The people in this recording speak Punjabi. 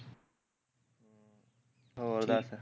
ਹੋਰ ਦੱਸ